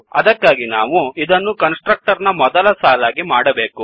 ಅದಕ್ಕಾಗಿ ನಾವು ಇದನ್ನು ಕನ್ಸ್ ಟ್ರಕ್ಟರ್ ನ ಮೊದಲ ಸಾಲಾಗಿ ಮಾಡಬೇಕು